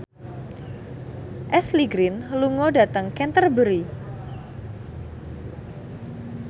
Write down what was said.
Ashley Greene lunga dhateng Canterbury